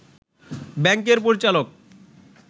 ব্যাংকের পরিচালক